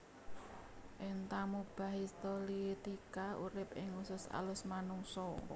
Entamuba histolytica urip ing usus alus manungsa